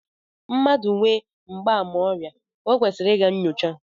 Mmadụ nwee mgbaàmà ọrịa, o kwesịrị ịga nnyocha